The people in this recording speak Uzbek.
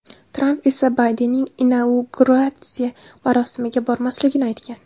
Tramp esa Baydenning inauguratsiya marosimiga bormasligini aytgan .